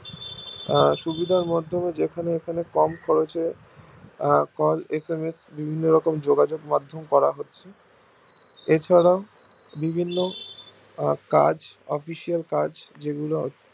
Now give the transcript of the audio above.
সুবিধার মধ্যে যেখানে কম খরচে call SMS বিভিন্ন যোগাযোগ মাধ্যম করা হয় এছাড়াও বিভিন্ন কাজ official কাজ যেগুলো